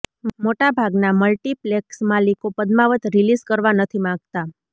મોટાભાગના મલ્ટીપ્લેક્સ માલિકો પદ્માવત રીલીઝ કરવા નથી માંગતા